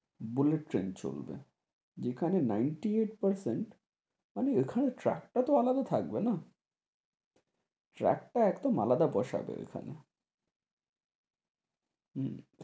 bullet train চলবে, যেখানে ninety-eight percent মানে এখানে track টা তো আলাদা থাকবে না, track টা একদম আলাদা বসবে এখানে, হুঁ,